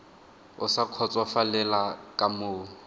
o sa kgotsofalela ka moo